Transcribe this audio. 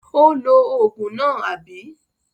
Ó lo òògùn náà, àbí?